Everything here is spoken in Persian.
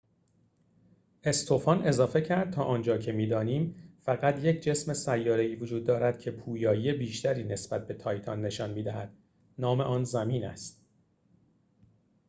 استوفان اضافi کرد: «تا آنجا که می‌دانیم، فقط یک جسم سیاره‌ای وجود دارد که پویایی بیشتری نسبت به تایتان نشان می‌دهد نام آن زمین است.»